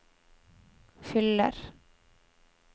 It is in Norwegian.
fyller